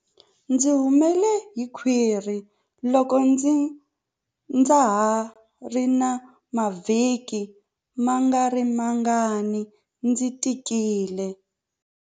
Ndzi humele hi khwiri loko ndza ha ri na mavhiki mangarimangani ndzi tikile.